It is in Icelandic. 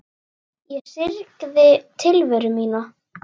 Ég syrgði tilveru mína.